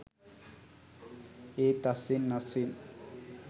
ඒත් අස්සෙන් අස්සෙන්